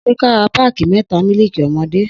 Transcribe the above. Sẹ kà rà pàkí mẹta mílìkí ọmọdẹ?